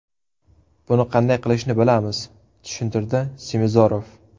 Buni qanday qilishni bilamiz”, tushuntirdi Semizorov.